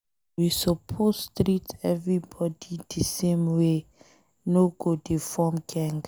We suppose treat everybody de same way, no go dey form geng.